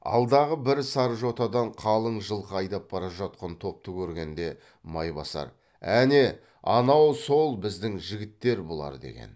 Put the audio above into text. алдағы бір сар жотадан қалың жылқы айдап бара жатқан топты көргенде майбасар әне анау сол біздің жігіттер бұлар деген